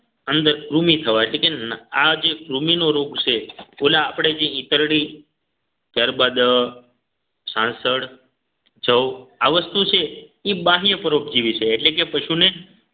અંદર કૃમિ થવા એટલે કે ના આજે કૃમિનો રોગ છે ઓલા આપણે જે ઈતરડી ત્યારબાદ સંસાળ જવ આ વસ્તુ છે એ બાહ્ય પરોપજીવી છે એટલે કે પશુને